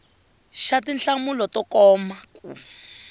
xa tinhlamulo to koma eka